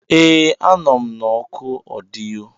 Ee, a nọ m na oku ọdịyo.